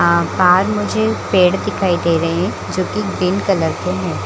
अ पार मुझे पेड़ दिखाई दे रहें हैं जो की गीन कलर के हैं।